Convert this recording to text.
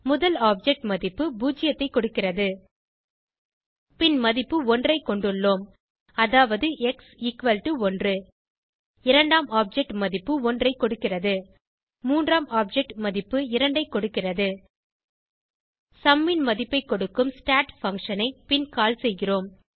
முதல் ஆப்ஜெக்ட் மதிப்பு 0 ஐ கொடுக்கிறது பின் மதிப்பு 1 ஐ கொண்டுள்ளோம் அதாவது எக்ஸ் 1 இரண்டாம் ஆப்ஜெக்ட் மதிப்பு 1 ஐ கொடுக்கிறது மூன்றாம் ஆப்ஜெக்ட் மதிப்பு 2ஐ கொடுக்கிறது சும் ன் மதிப்பை கொடுக்கும் ஸ்டாட் பங்ஷன் ஐ பின் கால் செய்கிறோம்